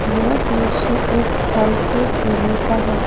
यह दृश्य एक फल के ठेले का है।